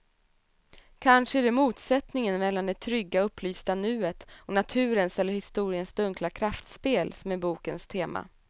Kanske är det motsättningen mellan det trygga, upplysta nuet och naturens eller historiens dunkla kraftspel som är bokens tema.